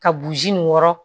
Ka burusi in wɔrɔ